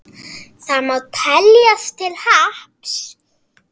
Það má teljast til happs.